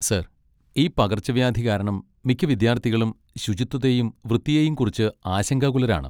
Sir, ഈ പകർച്ചവ്യാധി കാരണം മിക്ക വിദ്യാർത്ഥികളും ശുചിത്വത്തെയും വൃത്തിയെയും കുറിച്ച് ആശങ്കാകുലരാണ്.